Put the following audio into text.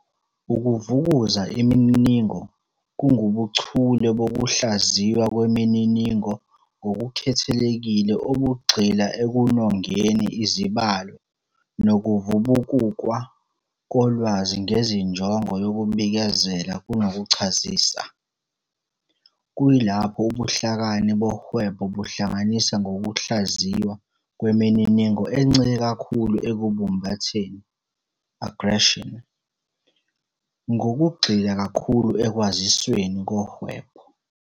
Ukuvukuza imininingo kungubuchule bokuhlaziywa kwemininingo ngokukhethekile obugxila ekunongeni izibalo nokuvubukukwa kolwazi ngezinjongo yokubikezela kunokuchazisa, kuyilapho ubuhlakani bohwebo buhlanganisa nokuhlaziywa kwemininingo encike kakhulu ekubumbutheni "aggregation", ngokugxila kakhulu ekwazisweni kohwebo.